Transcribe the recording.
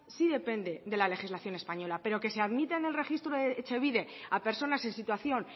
sí depende de la legislación española pero que se admita en el registro de etxebide a personas en situación